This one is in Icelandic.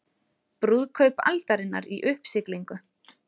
Brúðkaup aldarinnar í uppsiglingu